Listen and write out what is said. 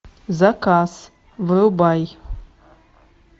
заказ врубай